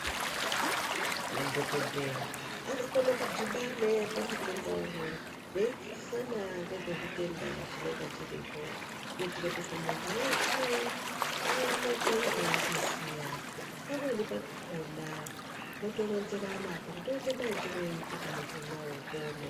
Madhogodheya anokone kudhibane pamutenda umwe veidzidzisana ngezvechitenda chinenga chiripo kuitire kuti muntu weshe aoneke eichiziya. Pamweni pakona votoronzerana kuti toite maitironyi kuti muntu unowu upone.